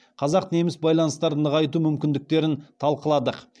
қазақ неміс байланыстарын нығайту мүмкіндіктерін талқыладық